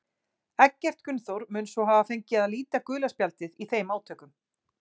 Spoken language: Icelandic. Eggert Gunnþór mun svo hafa fengið að líta gula spjaldið í þeim átökum.